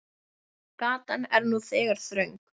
Gatan er nú þegar þröng.